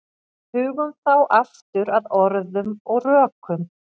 Hugum þá aftur að orðum og rökum.